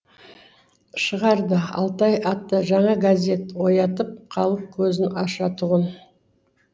шығарды алтай атты жаңа газет оятып халық көзін ашатұғын